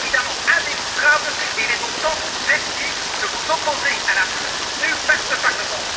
C'est évidemment indémontrable et il est donc temps que vous cessiez de vous opposer à la position soutenue par ce Parlement.